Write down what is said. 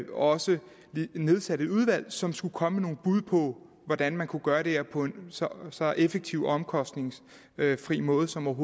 også nedsatte et udvalg som skulle komme med nogle bud på hvordan man kunne gøre det her på en så effektiv og omkostningsfri måde som